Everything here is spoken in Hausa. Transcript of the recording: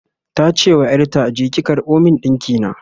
tace wa ƴarta "je ki karɓo min dinki na!"